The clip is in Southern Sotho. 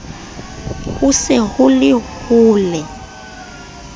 ho se ho ho le